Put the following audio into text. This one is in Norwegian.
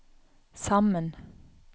sammen